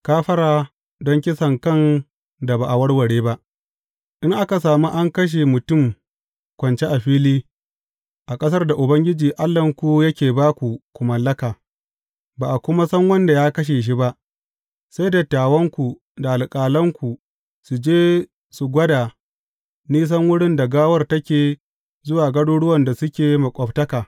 Kafara don kisankan da ba a warware ba In aka sami an kashe mutum kwance a fili, a ƙasar da Ubangiji Allahnku yake ba ku ku mallaka, ba a kuma san wanda ya kashe shi ba, sai dattawanku da alƙalanku su je su gwada nisan wurin da gawar take zuwa garuruwan da suke maƙwabtaka.